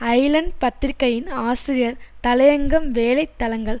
Island பத்திரிகையின் ஆசிரியர் தலையங்கம் வேலை தளங்கள்